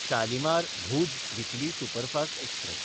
शालिमार–भूज weekly superfast express